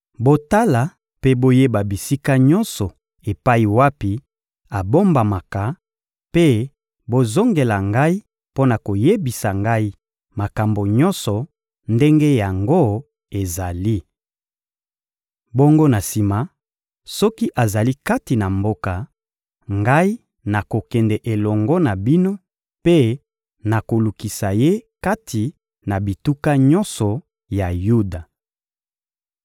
Botala mpe boyeba bisika nyonso epai wapi abombamaka, mpe bozongela ngai mpo na koyebisa ngai makambo nyonso ndenge yango ezali. Bongo na sima, soki azali kati na mboka, ngai nakokende elongo na bino mpe nakolukisa ye kati na bituka nyonso ya Yuda.